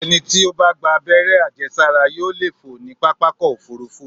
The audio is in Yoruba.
Ẹni tí ó bá gba àberẹ́ àjẹsára yóò lè fò ní pápákọ̀-òfurufú.